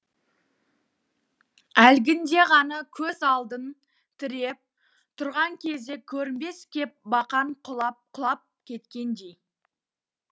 әлгінде ғана көз алдын тіреп тұрған кезге көрінбес кеп бақан құлап құлап кеткендей